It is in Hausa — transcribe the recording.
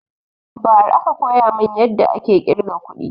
Ba ra aka koya mun yadda ake ƙirga kuɗi